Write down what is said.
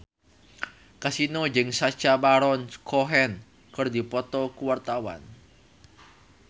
Kasino jeung Sacha Baron Cohen keur dipoto ku wartawan